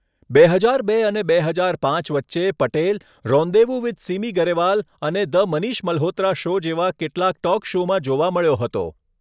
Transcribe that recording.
બે હજાર બે અને બે હજાર પાંચ વચ્ચે, પટેલ રોન્દેવૂ વિથ સિમી ગરેવાલ અને ધ મનિષ મલ્હોત્રા શો જેવા કેટલાંક ટોક શોમાં જોવા મળ્યો હતો.